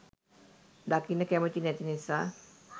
දකින්න කැමති නැති නිසා